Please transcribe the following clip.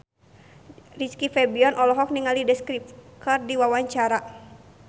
Rizky Febian olohok ningali The Script keur diwawancara